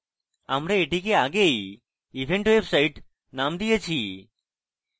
আমরা এটিকে আগেই event website named দিয়েছি